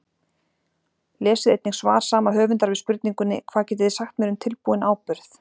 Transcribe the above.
Lesið einnig svar sama höfundar við spurningunni Hvað getið þið sagt mér um tilbúinn áburð?